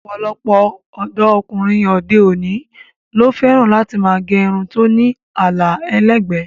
Ọ̀pọ̀lọpọ̀ ọ̀dọ́ ọkùnrin òde-òní ló fẹ́ràn láti máa gẹ irun tó ní àlà ẹlẹ́gbẹ̀ẹ́.